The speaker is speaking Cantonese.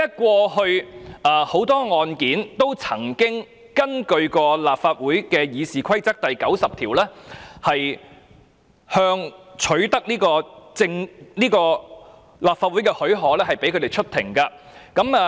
過去多宗案件也曾根據《議事規則》第90條，取得立法會的許可，讓有關人士出庭。